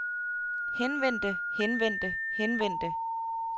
henvendte henvendte henvendte